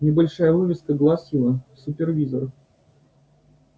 небольшая вывеска гласила супервизор